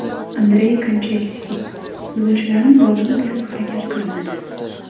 Andrey Kanchelskis: Futbolchilarim borini berib harakat qilmadi.